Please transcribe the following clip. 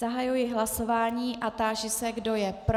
Zahajuji hlasování a táži se, kdo je pro.